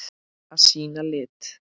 Að sýna lit.